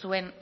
zuen